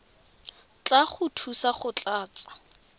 tla go thusa go tlatsa